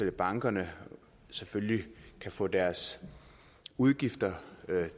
at bankerne selvfølgelig kan få deres udgifter